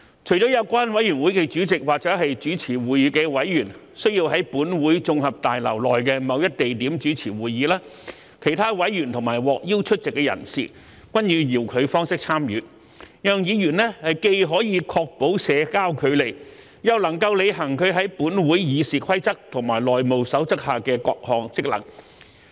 除了有關委員會的主席或主持會議的委員須在本會綜合大樓內的某一地點主持會議，其他委員及獲邀出席的人士均以遙距方式參與，讓議員既可確保社交距離，又能履行其在本會《議事規則》及《內務守則》下的各項職能。